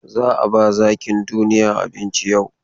Za a ba zakin duniya abinci yau.